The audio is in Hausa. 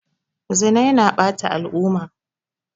Zina yana ɓata al'umma.